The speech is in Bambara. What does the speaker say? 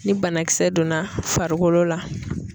Ni banakisɛ donna farikolo la.